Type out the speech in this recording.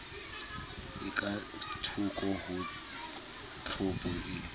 e kathoko ho tlhopho e